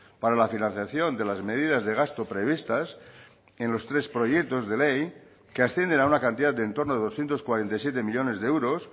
para la financiación de las medidas de gasto previstas en los tres proyectos de ley que ascienden a una cantidad de entorno de doscientos cuarenta y siete millónes de euros